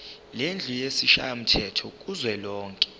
lendlu yesishayamthetho kuzwelonke